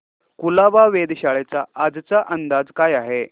कुलाबा वेधशाळेचा आजचा अंदाज काय आहे